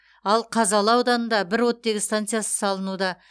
ал қазалы ауданында бір оттегі станциясы салынуда